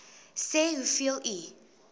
sê hoeveel u